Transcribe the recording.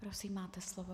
Prosím, máte slovo.